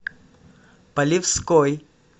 полевской